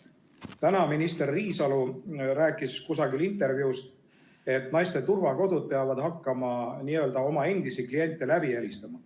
Täna minister Riisalo rääkis kusagil intervjuus, et naiste turvakodud peavad hakkama n-ö oma endisi kliente läbi helistama.